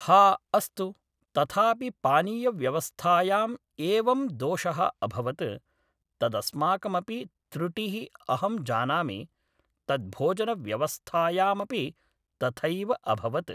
हा अस्तु तथापि पानीयव्यवस्थायाम् एवं दोषः अभवत् तदस्माकमपि त्रुटिः अहं जानामि तद् भोजनव्यवस्थायामपि तथैव अभवत्